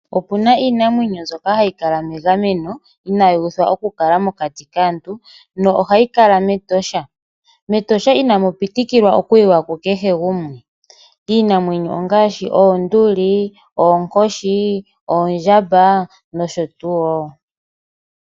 Opuna iinamwenyo mbyoka hayi kala megameno, ano inayi uthwa okukala mokati kaantu, na ohayi kala mEtosha. MEtosha inamu pitikilwa okuyiwa kukehe gumwe. Iinamwenyo ongaashi, oonduli, oonkoshi, oondjamba, nosho tuu.